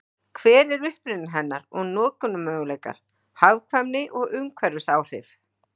Hver er uppruni hennar og notkunarmöguleikar, hagkvæmni og umhverfisáhrif?